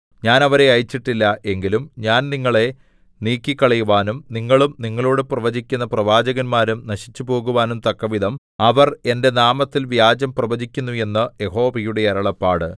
ഞാൻ അവരെ അയച്ചിട്ടില്ല എങ്കിലും ഞാൻ നിങ്ങളെ നീക്കിക്കളയുവാനും നിങ്ങളും നിങ്ങളോടു പ്രവചിക്കുന്ന പ്രവാചകന്മാരും നശിച്ചുപോകുവാനും തക്കവിധം അവർ എന്റെ നാമത്തിൽ വ്യാജം പ്രവചിക്കുന്നു എന്ന് യഹോവയുടെ അരുളപ്പാട്